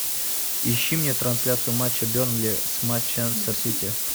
ищи мне трансляцию матча бернли с манчестер сити